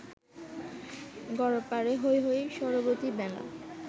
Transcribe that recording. গড়পারে হৈ হৈ সরবতি মেলা